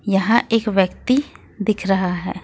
यहां एक व्यक्ति दिख रहा है।